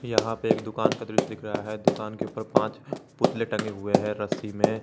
यहां पे एक दुकान का दृश्य दिख रहा है। दुकान के ऊपर पांच पुतले टंगे हुए हैं रस्सी में।